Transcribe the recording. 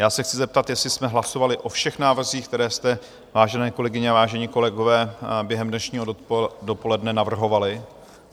Já se chci zeptat, jestli jsme hlasovali o všech návrzích, které jste, vážené kolegyně a vážení kolegové, během dnešního dopoledne navrhovali?